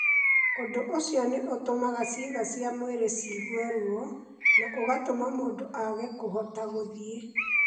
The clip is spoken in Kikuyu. Ũndũ ũcio nĩ ũtũmaga ciĩga cia mwĩrĩ ciigue ruo, na ũgatũma mũndũ aage kũhota gũthiĩ.